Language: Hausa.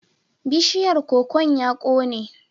Bishiyar kokon ya kone.